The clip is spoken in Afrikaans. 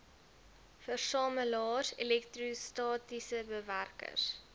versamelaars elektrostatiese bewerkers